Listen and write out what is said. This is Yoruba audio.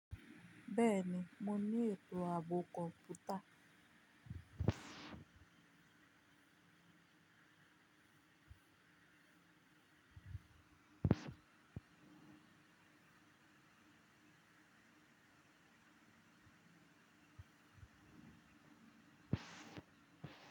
Bẹ́ẹ̀ ni, mo ní ètò ààbò computer.